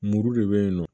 Muru de bɛyinnɔ